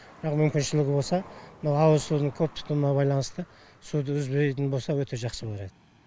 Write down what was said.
бірақ мүмкіншілігі болса мынау ауызсудың көп тұтынуына байланысты суды үзбейтін болса өте жақсы болар еді